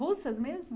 Russas mesmo?